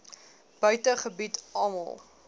buite gebied almal